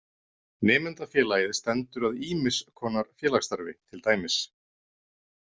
Nemendafélagið stendur að ýmiss konar félagsstarfi til dæmis.